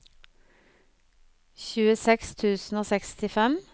tjueseks tusen og sekstifem